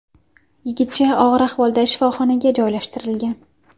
Yigitcha og‘ir ahvolda shifoxonaga joylashtirilgan.